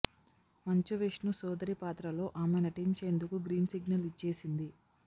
మంచు విష్ణు సోదరి పాత్రలో ఆమె నటించేందుకు గ్రీన్ సిగ్నల్ ఇచ్చేసింది